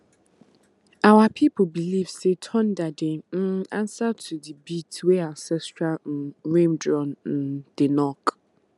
our people believe say thunder dey um answer to the beat wey ancestral um rain drum um dey knock